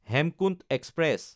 Hemkunt express